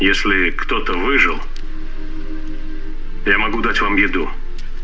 если кто-то выжил я могу дать вам еду